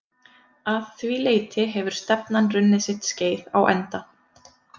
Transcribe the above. Að því leyti hefur stefnan runnið sitt skeið á enda.